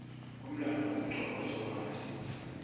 umlandvo kumcoka kutsi uwati